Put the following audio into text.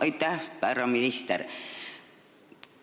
Aitäh, härra minister!